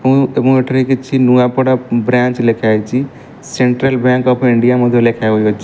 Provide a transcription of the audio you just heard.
ଏବଂ ଏଠାରେ କିଛି ନୂଆପଡ଼ା ବ୍ରାଞ୍ଚ ଲେଖାହେଇଚି ସେଣ୍ଟ୍ରାଲ ବ୍ୟାଙ୍କ ଅଫ ଇଣ୍ଡିଆ ମଧ୍ଯ ଲେଖାଯାଉଅଛ --